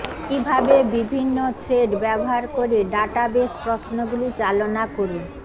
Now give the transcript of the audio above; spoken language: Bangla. কিভাবে বিভিন্ন থ্রেড ব্যবহার করে ডাটাবেস প্রশ্নগুলি চালনা করুন